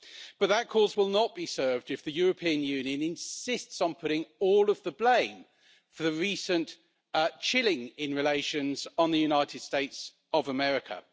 But that cause will not be served if the European Union insists on putting all of the blame for the recent chilling in relations on the United States of America.